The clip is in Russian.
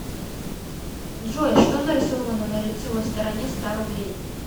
джой что нарисовано на лицевой стороне ста рублей